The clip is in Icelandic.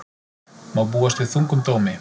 Má búast við þungum dómi